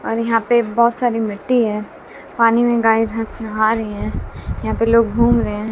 और यहां पे बहोत सारी मिट्टी है पानी में गायें भैंस नहा रही हैं यहां पर लोग घूम रहे हैं।